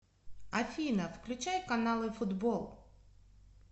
афина включай каналы футбол